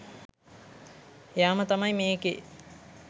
එයාම තමයි මේකෙ